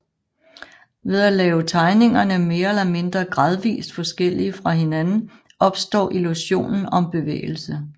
Ved at lave tegningerne mere eller mindre gradvist forskellige fra hinanden opstår illusionen om bevægelse